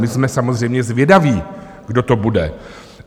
My jsme samozřejmě zvědaví, kdo to bude.